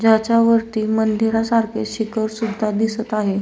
ज्याच्यावरती मंदिरासारखे शिखर सुद्धा दिसत आहे.